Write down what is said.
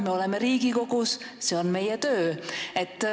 Me oleme Riigikogu ja see on meie töö.